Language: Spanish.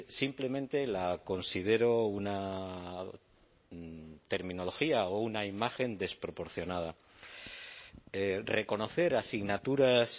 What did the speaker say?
simplemente la considero una terminología o una imagen desproporcionada reconocer asignaturas